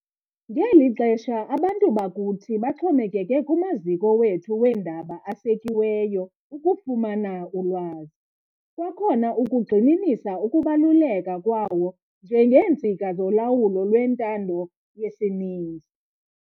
Ngeli xesha abantu bakuthi baxhomekeke kumaziko wethu weendaba asekiweyo ukufumana ulwazi, kwakhona ukugxininisa ukubaluleka kwawo njengeentsika zolawulo lwentando yesininzi.